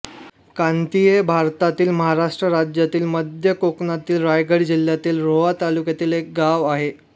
कांती हे भारतातील महाराष्ट्र राज्यातील मध्य कोकणातील रायगड जिल्ह्यातील रोहा तालुक्यातील एक गाव आहे